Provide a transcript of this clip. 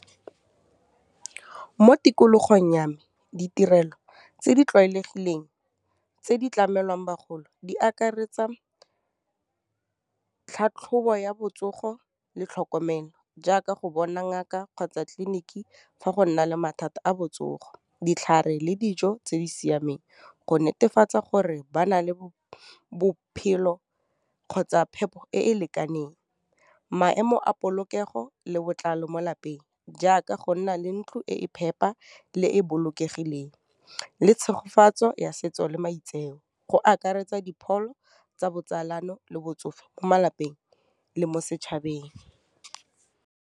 Mo tikologong ya me, ditirelo tse di tlwaelegileng tse di tlamelwang bagolo di akaretsa tlhatlhobo ya botsogo le tlhokomelo, jaaka go bona ngaka kgotsa tleliniki fa go nna le mathata a botsogo, ditlhare le dijo tse di siameng, go netefatsa gore ba na le bophelo kgotsa phepo e e lekaneng, maemo a polokego le botlalo mo lapeng, jaaka go nna le ntlo e e phepa, le e bolokegileng, le tshegofatseng ya setso le maitseo, go akaretsa dipholo tsa botsalano, le botsofe mo malapeng, le mo setšhabeng.